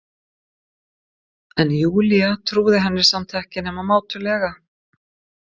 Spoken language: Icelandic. En Júlía trúði henni samt ekki nema mátulega.